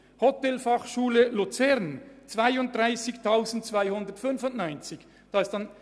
Bei der Hotelfachschule Luzern sind es 32 295 Franken.